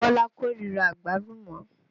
Bọ́lá kó ríra Àgbálùmọ́